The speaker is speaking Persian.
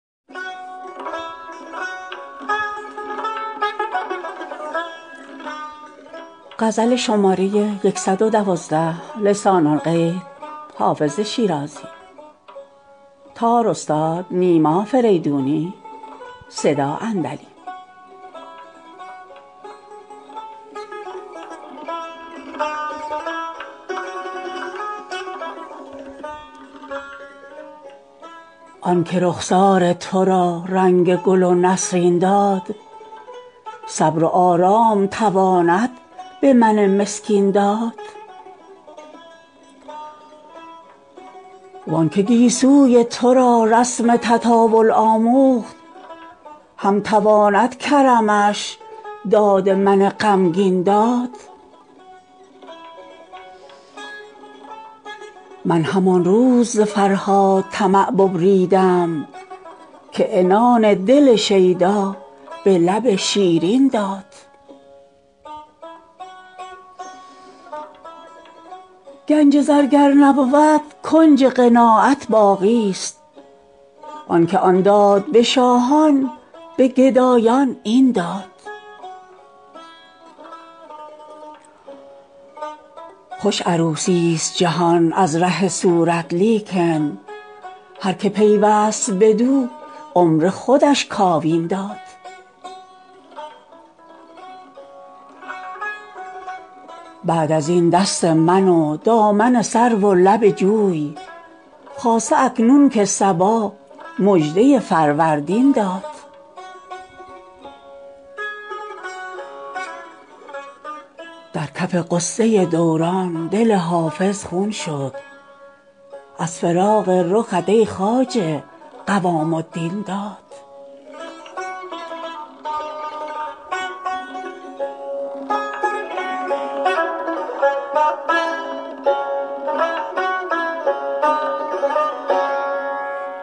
آن که رخسار تو را رنگ گل و نسرین داد صبر و آرام تواند به من مسکین داد وان که گیسوی تو را رسم تطاول آموخت هم تواند کرمش داد من غمگین داد من همان روز ز فرهاد طمع ببریدم که عنان دل شیدا به لب شیرین داد گنج زر گر نبود کنج قناعت باقیست آن که آن داد به شاهان به گدایان این داد خوش عروسیست جهان از ره صورت لیکن هر که پیوست بدو عمر خودش کاوین داد بعد از این دست من و دامن سرو و لب جوی خاصه اکنون که صبا مژده فروردین داد در کف غصه دوران دل حافظ خون شد از فراق رخت ای خواجه قوام الدین داد